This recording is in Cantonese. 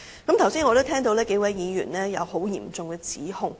我剛才也聽到有數位議員作出嚴重的指控。